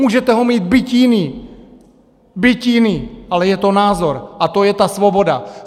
Můžete ho mít byť jiný, byť jiný, ale je to názor, a to je ta svoboda.